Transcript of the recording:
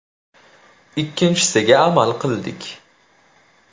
Ikkinchisiga amal qildik.